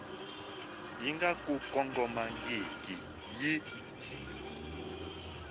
yi nga ku kongomangiki yi